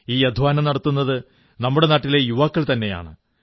ഈ അധ്വാനം നടത്തുന്നത് നമ്മുടെ നാട്ടിലെ യുവാക്കൾ തന്നെയാണ്